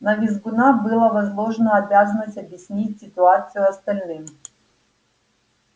на визгуна была возложена обязанность объяснить ситуацию остальным